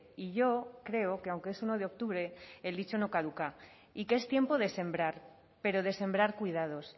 y yo creo que aunque es uno de octubre el dicho no caduca y que es tiempo de sembrar pero de sembrar cuidados